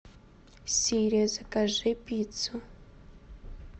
сири закажи пиццу